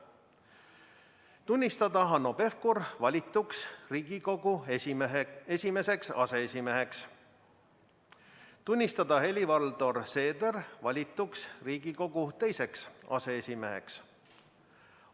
Valimiskomisjon on otsustanud tunnistada Hanno Pevkur valituks Riigikogu esimeseks aseesimeheks ja tunnistada Helir-Valdor Seeder valituks Riigikogu teiseks aseesimeheks.